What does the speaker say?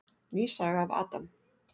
Ný saga af Adam.